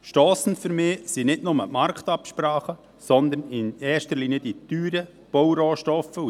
Stossend sind für mich nicht nur die Marktabsprachen, sondern in erster Linie die teuren Baurohstoffe.